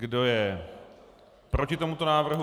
Kdo je proti tomuto návrhu?